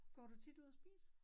Går du tit ud at spise?